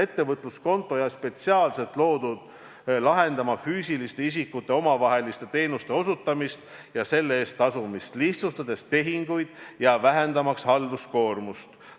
Ettevõtluskonto on spetsiaalselt loodud lahendama füüsiliste isikute omavaheliste teenuste osutamist ja selle eest tasumist, lihtsustades tehinguid ja vähendamaks halduskoormust.